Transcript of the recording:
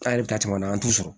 An yɛrɛ bɛ taa caman na an t'u sɔrɔ